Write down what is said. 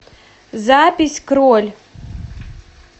запись кроль